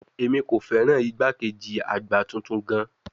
Emi ko fẹran igbakeji agba tuntun gaan